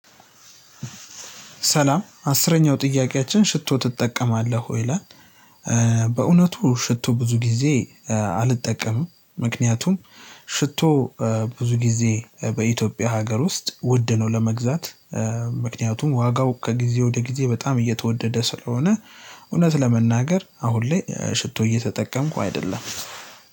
ሰላም አስረኛው ጥያቄያችን ሽቶ ትጠቀማለህ ወይ? ይላል በእውነቱ ሽቶ ብዙ ጊዜ አልጠቀምም ምክንያቱም ሽቶ ብዙ ጊዜ በኢትዮጵያ ሀገር ውስጥ ውድ ነው ለመግዛት ምክንያቱም ዋጋው ከጊዜ ወደ ጊዜ በጣም እየተወደደ ስለሆነ እውነት ለመናገር አሁን ላይ ሽቶ እየተጠቀምኩ አይደለም።